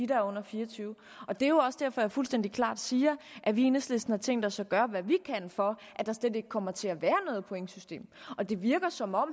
der er under fire og tyve år det er også derfor at jeg fuldstændig klart siger at vi i enhedslisten har tænkt os at gøre hvad vi kan for at der slet ikke kommer til at være noget pointsystem det virker som om